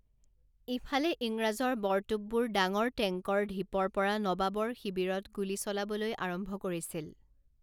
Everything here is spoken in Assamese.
ইফালে ইংৰাজৰ বৰতোপবোৰে ডাঙৰ টেংকৰ ঢিপৰ পৰা নবাবৰ শিবিৰত গুলী চলাবলৈ আৰম্ভ কৰিছিল।